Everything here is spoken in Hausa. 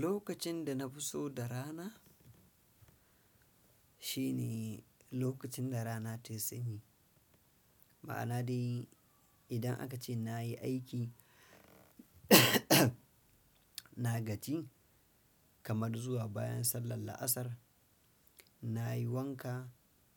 Lokacin da na fi so da rana, shine lokacin da rana tayi sanyi. Ma'ana dai idan aka ce na yi aiki na gaji, kamar zuwa bayan sallar la'asar, na yi wanka,